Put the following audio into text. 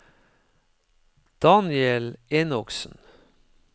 Daniel Enoksen